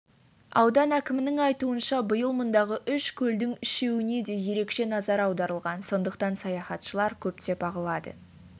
аудан әкімінің айтуынша биыл мұндағы үш көлдің үшеуіне де ерекше назар аударылған сондықтан саяхташылар көптеп ағылады